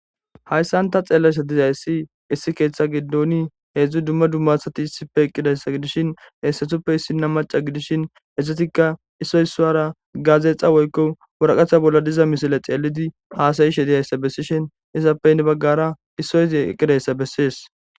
Hayssanta xeellasa dizayssi issi keeththe gidoni heedzdzu dumma dummasati issipfe eqqidayssa gidishin heessetuppe issinna maca gidishin essetikka issoy issowara gaazeexa woykko wuraqatha bolla diza misile xeelidi haasayishe dizayssa bessishin isappeynne baggara issoyzi eqqidayssa bessees.